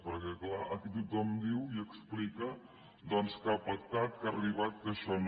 perquè clar aquí tothom diu i explica doncs que ha pactat que ha arribat que això no